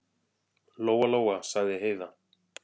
Lóa-Lóa, sagði Heiða.